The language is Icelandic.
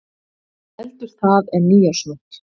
Heldur það en nýársnótt.